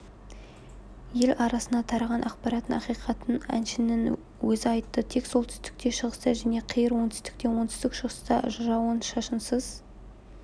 ел арасына тараған ақпараттың ақиқатын әншінің өзі айтты тек солтүстікте шығыста және қиыр оңтүстікте оңтүстік-шығыста жауын-шашынсыз